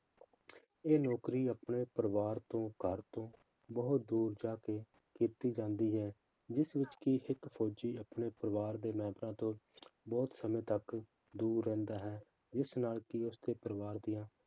ਇਹ ਨੌਕਰੀ ਆਪਣੇ ਪਰਿਵਾਰ ਤੋਂ ਘਰ ਤੋਂ ਬਹੁਤ ਦੂਰ ਜਾ ਕੇ ਕੀਤੀ ਜਾਂਦੀ ਹੈ, ਜਿਸ ਵਿੱਚ ਕਿ ਸਿੱਖ ਫੌਜੀ ਆਪਣੇ ਪਰਿਵਾਰ ਦੇ ਮੈਂਬਰਾਂ ਤੋਂ ਬਹੁਤ ਸਮੇਂ ਤੱਕ ਦੂਰ ਰਹਿੰਦਾ ਹੈ, ਜਿਸ ਨਾਲ ਕਿ ਉਸਦੇ ਪਰਿਵਾਰ ਦੀਆਂ